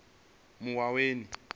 muwaweni